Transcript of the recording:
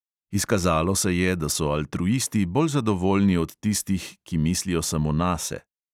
Izkazalo se je, da so altruisti bolj zadovoljni od tistih, ki mislijo samo nase.